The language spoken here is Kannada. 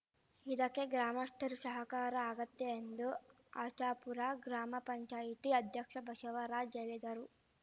ಇದಕ್ಕೆ ಗ್ರಾಮಸ್ಥರು ಸಹಕಾರ ಅಗತ್ಯ ಎಂದು ಆಚಾಪುರ ಗ್ರಾಮ ಪಂಚಾಯಿತಿ ಅಧ್ಯಕ್ಷ ಬಶವರಾಜ್‌ ಹೇಳಿದರು